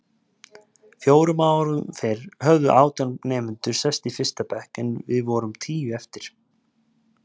Fjórum árum fyrr höfðu átján nemendur sest í fyrsta bekk en við vorum tíu eftir.